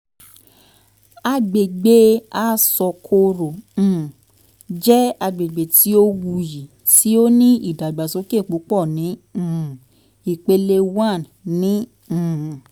agbegbe asokoro um jẹ agbegbe ti o wuyi ti o ni idagbasoke pupọ ni um ipele one ni um